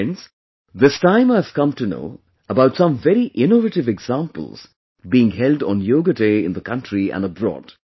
Friends, this time I have come to know about some very innovative examples being held on 'Yoga Day' in the country and abroad